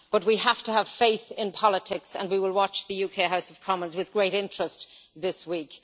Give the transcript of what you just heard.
But we have to have faith in politics, and we will watch the UK House of Commons with great interest this week.